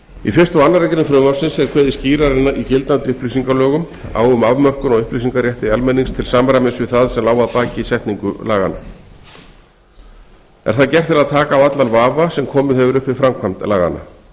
í fyrsta og aðra grein frumvarpsins er kveðið skýrar en í gildandi upplýsingalögum á um afmörkun á upplýsingarétti almennings til samræmi við það sem lá að baki setningu laganna er það gert til að taka af allan vafa sem komið hefur upp við framkvæmd laganna